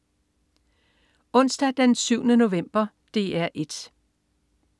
Onsdag den 7. november - DR 1: